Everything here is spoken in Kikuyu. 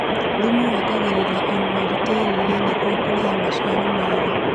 Thumu wongagĩrĩra unoro tĩri-inĩ nĩguo kũrehe maciaro mega.